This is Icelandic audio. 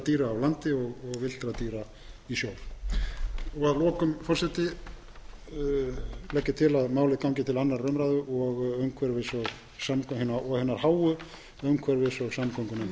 dýra á landi og villtra dýra í sjó að lokum forseti legg ég til að málið gangi til annarrar umræðu og hinnar háu umhverfis og samgöngunefndar